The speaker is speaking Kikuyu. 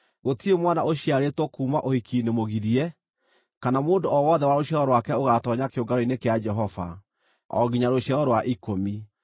Gũtirĩ mwana ũciarĩtwo kuuma ũhiki-inĩ mũgirie, kana mũndũ o wothe wa rũciaro rwake ũgaatoonya kĩũngano-inĩ kĩa Jehova, o nginya rũciaro rwa ikũmi.